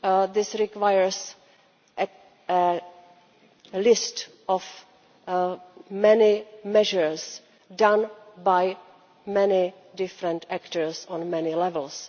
This requires a list of many measures done by many different actors on many levels.